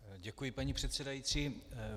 Děkuji, paní předsedající.